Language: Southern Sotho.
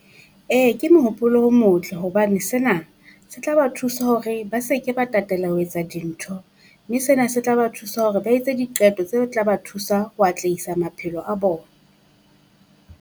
Ee ke mohopolo o motle hobane sena se tla ba thusa hore ba se ke ba tatela ho etsa dintho. Mme sena se tla ba thusa hore ba etse diqeto tse tla ba thusa ho atlehisa maphelo a bona.